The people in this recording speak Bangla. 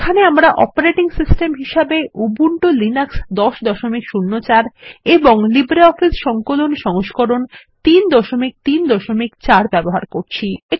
এখানে আমরা অপারেটিং সিস্টেম হিসেবে উবুন্টু লিনাক্স ১০০৪ এবং লিব্রিঅফিস সংকলন সংস্করণ ৩৩৪ ব্যবহার করছি